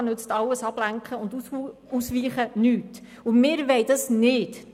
Da nützt alles Ablenken und Ausweichen nichts, und dies wollen wir nicht.